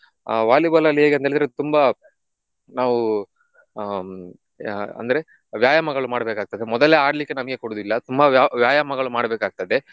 ಆಹ್ Volleyball ಅಲ್ಲಿ ಹೇಗಂತ ಹೇಳಿದ್ರೆ ತುಂಬ ನಾವು ಹ್ಮ್ ಆಹ್ ಅಂದ್ರೆ ವ್ಯಾಯಾಮಗಳು ಮಾಡ್ಬೇಕಾಗ್ತದೆ ಮೊದಲೇ ಆಡ್ಲಿಕ್ಕೆ ನಮ್ಗೆ ಕೊಡುದಿಲ್ಲ ತುಂಬಾ ವ್ಯ~ ವ್ಯಾಯಾಮಗಳು ಮಾಡ್ಬೇಕಾಗ್ತದೆ.